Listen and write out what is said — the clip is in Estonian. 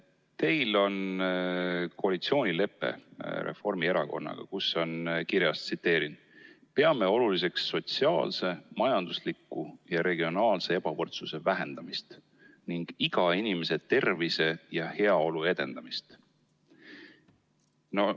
Teil on koalitsioonilepe Reformierakonnaga, kus on kirjas: "Peame oluliseks sotsiaalse, majandusliku ja regionaalse ebavõrdsuse vähendamist ning iga inimese tervise ja heaolu edendamist.